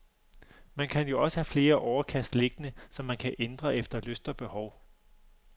Man kan jo også have flere overkast liggende, så man kan ændre efter lyst og behov.